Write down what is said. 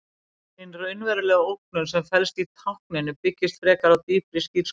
Hin raunverulega ógnun sem felst í tákninu byggist frekar á dýpri skírskotun.